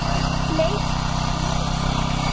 Leit í kringum sig.